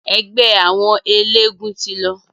Ẹgbẹ́ àwọn eléegún ti lọ.